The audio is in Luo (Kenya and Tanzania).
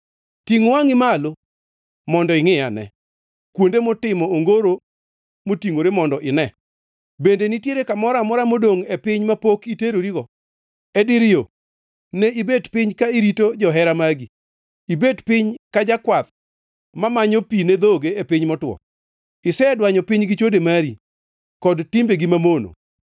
Tingʼ wangʼi malo mondo ingʼiane kuonde motimo ongoro motingʼore mondo ine. Bende nitiere kamoro amora modongʼ e piny mapok iterorigo? E dir yo ne ibet piny ka irito johera magi, ibet piny ka jakwath mamanyo pi ne dhoge e piny motwo. Isedwanyo piny gi chode mari, kod timbegi mamono.